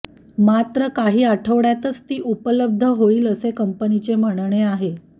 मात्र काही आठवड्यातच ती उपलब्ध होईल असे कंपनीचे म्हणणे आहे